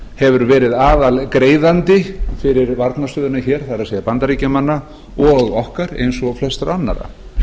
hefur verið aðalgreiðandi fyrir varnarstöðina hér það er bandaríkjamanna og okkar eins og flestra annarra